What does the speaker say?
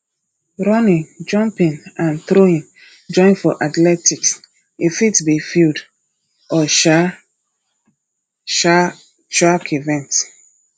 running jumping and throwing join for athletics e fit be field or um um track event